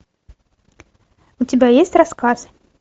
у тебя есть рассказ